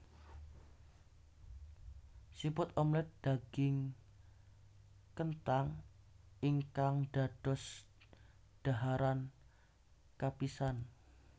Siput omelet daging kenthang ingkang dados dhaharan kapisan